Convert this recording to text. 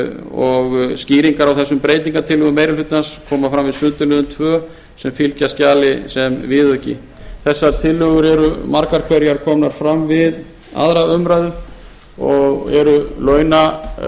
og skýringar á þessum breytingartillögum meiri hlutans koma fram við sundurliðun tvö sem fylgja skjali sem viðauki þessar tillögur eru margar hverjar komnar fram við aðra umræðu